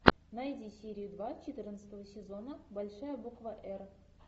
найди серию два четырнадцатого сезона большая буква р